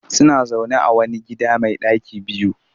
Suna zaune a wani gida mai ɗaki biyu